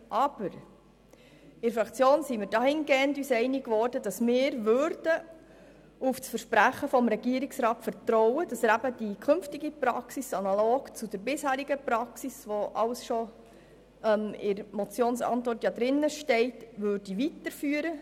Aber: In der Fraktion wurden wir uns dahingehend einig, dass wir auf das Versprechen des Regierungsrats vertrauen, indem er die künftige Praxis analog zur bisherigen weiterführen wird, so wie es in der Antwort auf die Motion zu lesen ist.